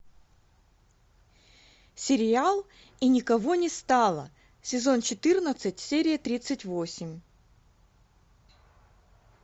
сериал и никого не стало сезон четырнадцать серия тридцать восемь